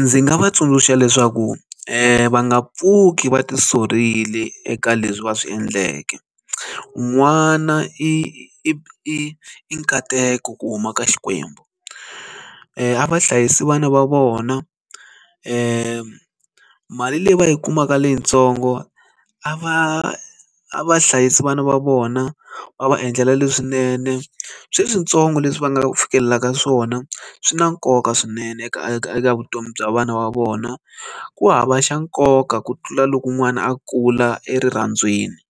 Ndzi nga va tsundzuxa leswaku va nga pfuki va ti sukerile eka leswi va swi endleke n'wana i i i nkateko ku huma ka xikwembu a vahlayisi vana va vona mali leyi va yi kumaka leyitsongo a va a va hlayisi vana va vona va va endlela leswinene sweswi switsongo leswi va nga fikelelaka swona swi na nkoka swinene eka eka vutomi bya vana va vona ku hava xa nkoka ku tlula loko n'wana a kula erirhandziweni